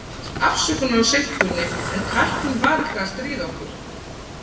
Ég biðst afsökunar á seinkuninni, en tæknin var eitthvað að stríða okkur.